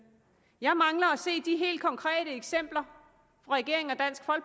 jeg mangler at se de helt konkrete eksempler fra regeringen